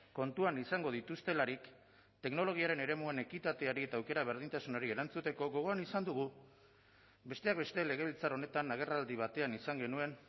kontuan izango dituztelarik teknologiaren eremuan ekitateari eta aukera berdintasunari erantzuteko gogoan izan dugu besteak beste legebiltzar honetan agerraldi batean izan genuen